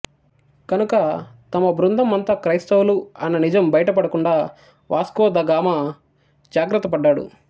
కనుక తమ బృందం అంతా క్రైస్తవులు అన్న నిజం బయటపడకుండా వాస్కో ద గామా జాగ్రత్తపడ్డాడు